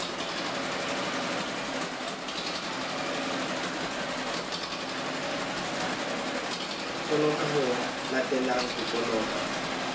toloka ho latelanang ho toloka